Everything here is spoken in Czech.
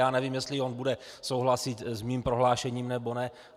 Já nevím, jestli on bude souhlasit s mým prohlášením, nebo ne.